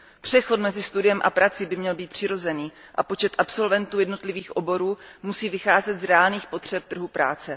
Přechod mezi studiem a prací by měl být přirozený a počet absolventů jednotlivých oborů musí vycházet z reálných potřeb trhu práce.